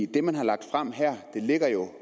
det man har lagt frem her ligger jo